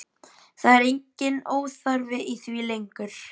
Það er enginn óþarfi í því lengur!